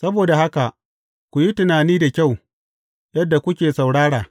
Saboda haka, ku yi tunani da kyau yadda kuke saurara.